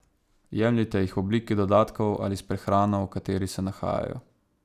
Jemljite jih v obliki dodatkov ali s prehrano, v kateri se nahajajo.